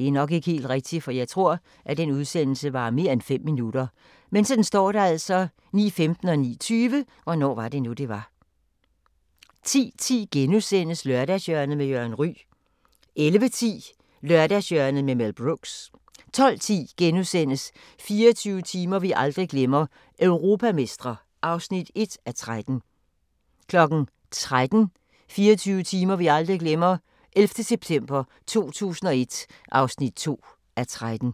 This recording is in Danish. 09:20: Hvornår var det nu, det var? 10:10: Lørdagshjørnet med Jørgen Ryg * 11:10: Lørdagshjørnet med Mel Brooks 12:10: 24 timer vi aldrig glemmer – europamestre (1:13)* 13:00: 24 timer vi aldrig glemmer – 11. september 2001 (2:13)